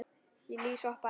Lýs hoppa ekki.